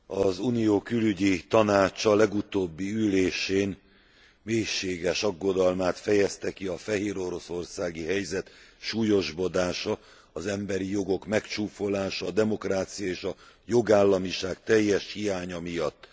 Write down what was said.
A Külügyek Tanácsa legutóbbi ülésén mélységes aggodalmát fejezte ki a fehéroroszországi helyzet súlyosbodása, az emberi jogok megcsúfolása, a demokrácia és a jogállamiság teljes hiánya miatt.